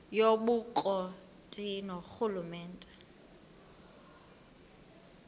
yobukro ti ngurhulumente